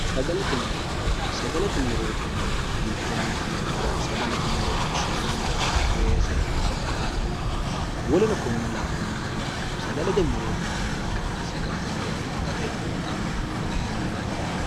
sagalate murootinanniti hiittenneeti neekkiro sagalete muro shaano weese abukaato wolino konne labbannori sagalete morootinanni ikkanna sagalete murono gate fultanno yinehendani